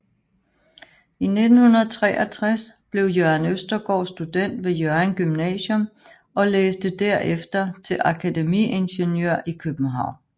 I 1963 blev Jørgen Østergaard student ved Hjørring Gymnasium og læste derefter til akademiingeniør i København